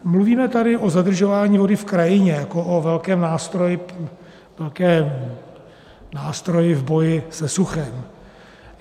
Mluvíme tady o zadržování vody v krajině jako o velkém nástroji v boji se suchem.